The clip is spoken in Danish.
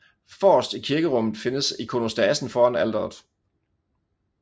Forrest i kirkerummet findes ikonostasen foran alteret